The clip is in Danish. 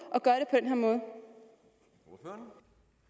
at gøre